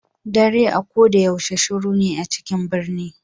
Ɗare a ko ɗa yaushe shiru na a cikin ɓirni